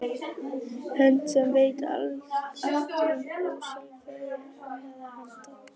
Hönd sem veit allt um ósjálfræði annarra handa.